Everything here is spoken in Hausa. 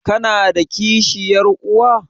Kana da kishiyar uwa?